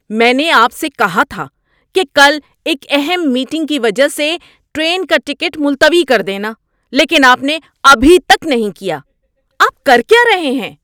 میں نے آپ سے کہا تھا کہ کل ایک اہم میٹنگ کی وجہ سے ٹرین کا ٹکٹ ملتوی کر دینا لیکن آپ نے ابھی تک نہیں کیا، آپ کر کیا رہے ہیں؟